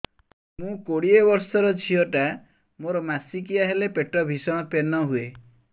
ମୁ କୋଡ଼ିଏ ବର୍ଷର ଝିଅ ଟା ମୋର ମାସିକିଆ ହେଲେ ପେଟ ଭୀଷଣ ପେନ ହୁଏ